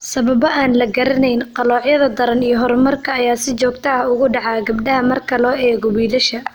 Sababo aan la garanayn, qaloocyada daran iyo horumarka ayaa si joogto ah ugu dhaca gabdhaha marka loo eego wiilasha.